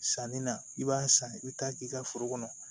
Sanni na i b'a san i bi taa k'i ka foro kɔnɔ